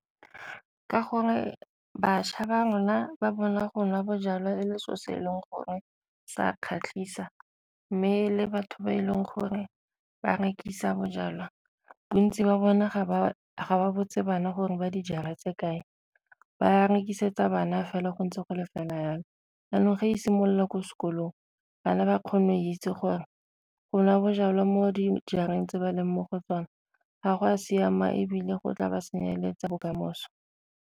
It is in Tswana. Ka gore bašwa ba rona ba bona go nwa bojalwa e le selo se e leng gore sa kgatlhisa, mme e le batho ba e leng gore ba rekisa bojalwa bontsi ba bone ga ba ga botse bana gore ba dijara tse kae ba rekisetsa bana fela go ntse go le fela jalo. Jaanong fa e simolola ko sekolong bana ba kgone go itse gore go nwa bojalwa mo dijareng tse ba leng mo go tsona ga go a siama ebile go tla ba senyeletsang bokamoso.